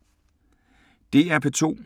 DR P2